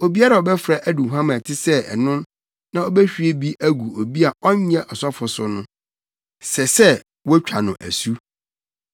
Obiara a ɔbɛfra aduhuam a ɛte sɛ ɛno na obehwie bi agu obi a ɔnyɛ ɔsɔfo so no, sɛ sɛ wo twa no asu.’ ”